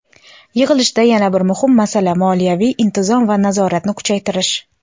Yig‘ilishda yana bir muhim masala – moliyaviy intizom va nazoratni kuchaytirish.